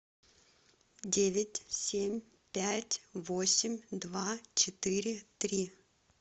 девять семь пять восемь два четыре три